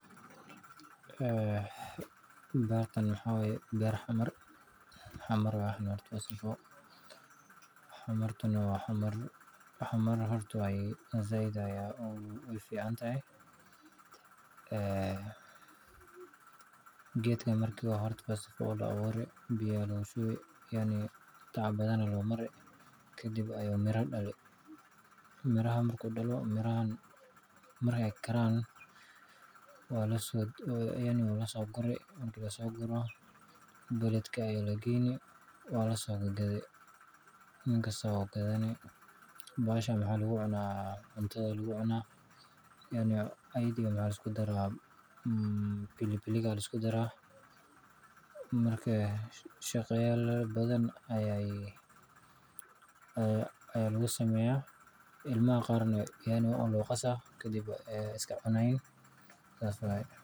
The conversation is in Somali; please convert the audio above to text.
Beertan waa beer Xamar, Xamartuna si weyn ayay ugu fiican tahay geedkan. Marka first of all waa la abuuray, biyo ayaa lagu shubay, tacab badan ayaa loo huray. Kadib ayuu miro dhalaa. Miraha markuu dhasho oo karaan waa la soo guraa. Marka la soo guro, magaalada ayaa la geeyaa, waa la soo gadaa. Markii la soo gato, beertan waxaa lagu cunaa cuntada, ayayda iyo filfilka ayaa la isku daraa. Markaas shay yaal badan ayaa lagu sameeyaa. Ilmaha qaarna waa un la qasaa, kadibna way iska cunayaan.